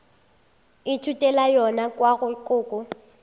ithutela yona kua go koko